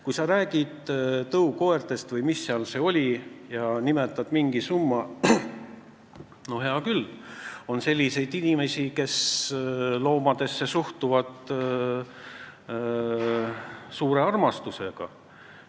Kui sa räägid tõukoertest või mis see seal oligi ja nimetad mingi summa, siis jah, on selliseid inimesi, kes suhtuvad loomadesse suure armastusega.